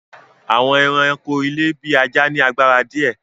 Àwọn èràńko ilé bí ajá ní agbára díẹ.